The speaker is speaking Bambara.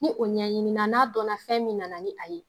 Ni o ɲɛɲini na n'a dɔn na fɛn min na na ni a ye.